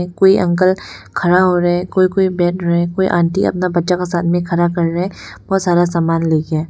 कोई अंकल खड़ा हो रहा है कोइ कोइ बैठ रहा है कोइ आंटी अपना बच्चा का साथ में खड़ा कर रहे हैं बहुत सारा सामान लेके।